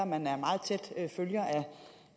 man er en meget tæt følger af